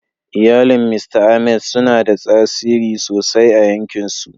Iyalin Mista Ahmed suna da tasiri sosai a 'yankinsu.